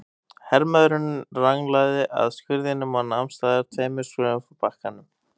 Hermaðurinn ranglaði að skurðinum og nam staðar tveimur skrefum frá bakkanum.